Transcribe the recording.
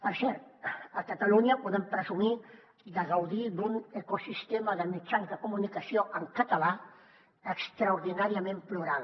per cert a catalunya podem presumir de gaudir d’un ecosistema de mitjans de comunicació en català extraordinàriament plural